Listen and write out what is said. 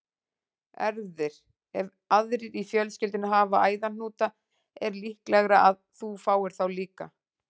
Erfðir- Ef aðrir í fjölskyldunni hafa æðahnúta er líklegra að þú fáir þá líka.